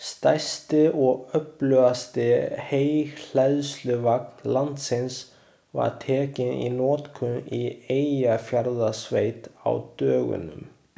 Stærsti og öflugasti heyhleðsluvagn landsins var tekinn í notkun í Eyjafjarðarsveit á dögunum.